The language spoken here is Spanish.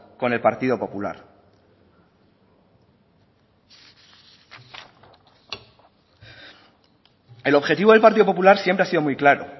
con el partido popular el objetivo del partido popular siempre ha sido muy claro